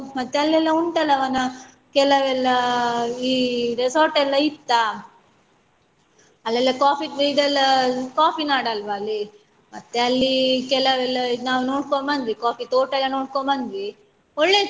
ಮತ್ತೆ ಅಲ್ಲಿ ಎಲ್ಲ ಉಂಟಲವನ ಕೆಲವೆಲ್ಲಾ ಈ resort ಎಲ್ಲ ಇತ್ತಾ ಅಲ್ಲೆಲ್ಲಾ coffee ಇದೆಲ್ಲ coffee ನಾಡ್ ಅಲ್ವ ಅಲ್ಲಿ ಮತ್ತೆ ಅಲ್ಲಿ ಕೆಲವೆಲ್ಲ ನಾವು ನೋಡ್ಕೊಂಡು ಬಂದ್ವಿ coffee ತೋಟ ಎಲ್ಲ ನೋಡ್ಕೊಂಡು ಬಂದ್ವಿ ಒಳ್ಳೆ ಇತ್ತು.